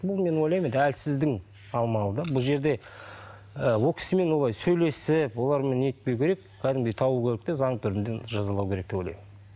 бұл мен ойлаймын енді әлсіздің амалы да бұл жерде ы ол кісімен олай сөйлесіп олармен нетпеу керек кәдімгідей табу керек те заңды түрінде жазалау керек деп ойлаймын